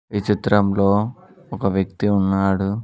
ఈ చిత్రంలో ఒక వ్యక్తి ఉన్నాడు.